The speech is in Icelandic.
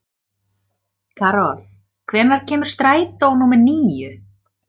Karol, hvenær kemur strætó númer níu?